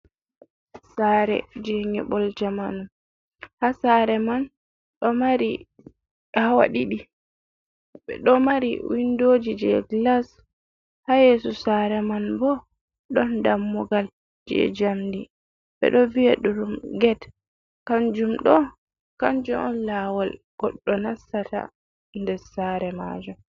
Sare je nƴiɓol jamanu, ha sare man ɗo mari hawa ɗiɗi, ɓe ɗo mari windoji je gilas, ha yeeso sare man bo ɗon dammugal je jamdi, ɓe ɗo vi’a ɗum ged, Kanjum ɗo kanjum on laawol goɗɗo nastata nder sare majum.